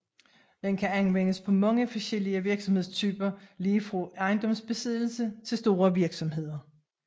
Den kan anvendes på meget forskellige virksomhedstyper lige fra ejendomsbesiddelse til store virksomheder